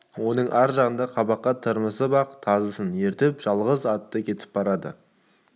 оның ар жағыңда қабаққа тырмысып ақ тазысын ертіп жалғыз атты кетіп барады